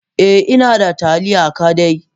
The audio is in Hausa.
Eh inada taliya kadai.